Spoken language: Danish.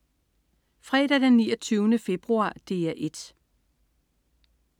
Fredag den 29. februar - DR 1: